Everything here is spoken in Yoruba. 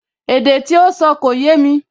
Èdè tí ó sọ kò yémi